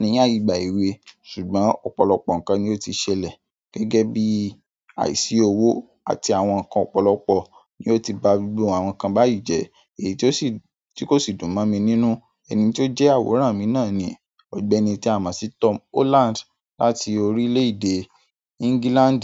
ní ìgbà èwe ṣùgbọ́n ọ̀pọ̀lọpọ̀ nǹkan ni ó ti ṣẹlẹ̀ gẹ́gẹ́ bí àìsí owó àti àwọn nǹkan ọ̀pọ̀lọpọ̀ ni ó ti ba gbogbo àwọn kan báyìí jẹ́ èyí tí kò sì dùn mọ́ mi nínú. Ẹni tí ó jẹ́ àwòrán mi náà ni ọ̀gbẹ́ni ti a mo si Tom Holland láti orílẹ̀ èdè England.